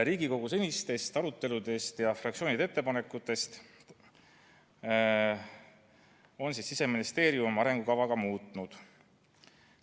Riigikogu senistest aruteludest ja fraktsioonide ettepanekutest lähtudes on Siseministeerium arengukava ka muutnud.